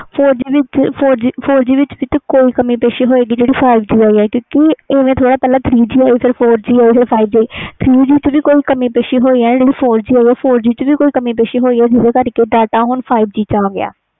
four G ਵਿਚ ਕੋਈ ਕਮੀ ਹੋਏ ਗੀ ਤਾਹਿ five G ਆਇਆ ਪਹਿਲੇ three G four G five G ਆਈ ਆ ਐਵੇ ਥੋੜੀ five G ਆਈ ਆ four g ਕਮੀ ਹੋਵੇ ਗਈ ਤਾਹਿ five G ਆਈ ਆ